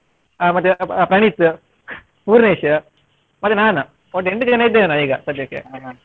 ಆ ಮತ್ತೆ ಪ್ರಣೀತ್, ಪೂರ್ಣೇಶ್ ಮತ್ತೆ ನಾನು ಒಟ್ಟು ಎಂಟು ಜನ ಇದ್ದೇವೆ ನಾವು ಈಗ ಸಧ್ಯಕ್ಕೆ.